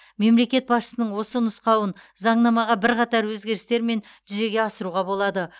мемлекет басшысының осы нұсқауын заңнамаға бірқатар өзгерістермен жүзегеге асыруға болады